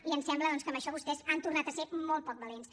i em sembla doncs que amb això vostès han tornat a ser molt poc valents